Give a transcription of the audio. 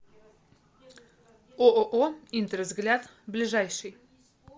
ооо интервзгляд ближайший